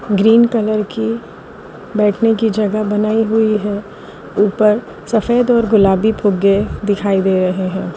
Green colour की बैठने की जगह बनाई हुई है ऊपर सफेद और गुलाबी फुग्गे दिखाई दे रहे हैं।